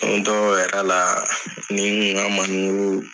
dɔw yɛrɛ la ne ni n ka manemuruw.